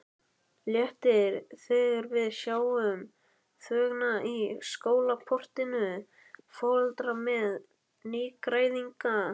Léttir þegar við sjáum þvöguna í skólaportinu, foreldrar með nýgræðinga.